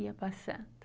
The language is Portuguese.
Ia passando.